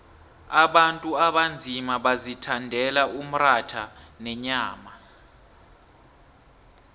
abantu abanzima bazithandela umratha nenyama